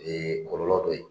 kɔlɔlɔ be ye